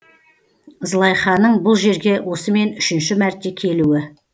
злайханың бұл жерге осымен үшінші мәрте келуі